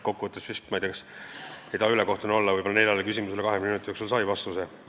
Kokku võttes – ma ei taha ülekohtune olla – võib-olla neljale küsimusele 20 minuti jooksul sai vastuse.